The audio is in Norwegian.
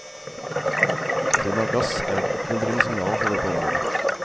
Funn av gass er et oppmuntrende signal fra dette området.